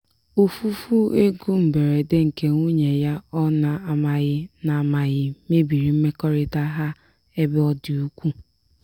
ofufu ego mberede nke nwunye ya ọ na-amaghị na-amaghị mebiri mmekọrịta ha ebe ọ dị ukwuu.